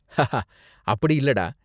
haha, அப்படி இல்லடா